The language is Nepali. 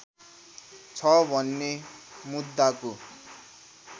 छ भने मुद्दाको